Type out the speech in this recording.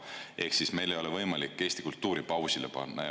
Ehk ei ole võimalik Eesti kultuuri pausile panna.